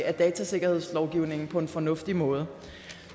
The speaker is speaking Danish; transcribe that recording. af datasikkerhedslovgivningen på en fornuftig måde